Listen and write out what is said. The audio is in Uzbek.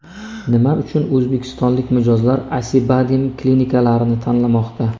Nima uchun o‘zbekistonlik mijozlar Acibadem klinikalarini tanlamoqda?.